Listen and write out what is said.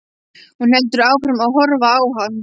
Hún heldur áfram að horfa á hann.